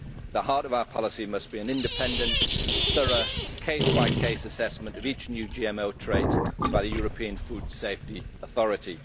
The heart of our policy must be an independent, thorough, case by case assessment of each new GM trait by the European Food Safety Authority.